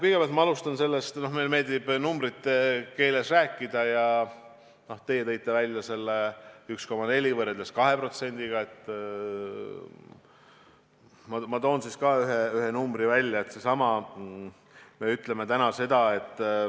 Kõigepealt, alustan sellest, kuna meile meeldib numbrite keeles rääkida ja teie tõite esile selle 1,4% võrreldes 2%-ga, et toon ka ühe arvu.